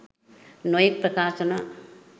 නොයෙක් ප්‍රකාශන